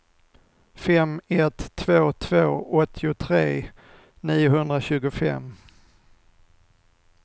fem ett två två åttiotre niohundratjugofem